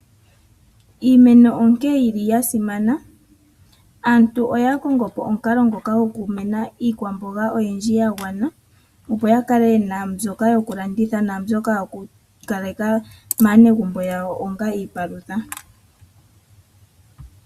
Iimeno onkene yili yasimana. Aantu oya kongo po omukalo ngoka goku mena iikwamboga mbyoka yagwana opo ya kale yena mbyoka yoku landitha naa mbyoka yoku kaleka maanegumbo yawo onga iipalutha.